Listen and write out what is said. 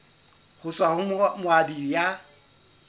ho tswa ho moabi ya